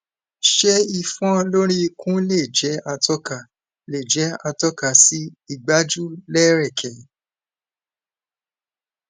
ṣé ifon lori ikun le jẹ atoka le jẹ atoka si igbaju lereke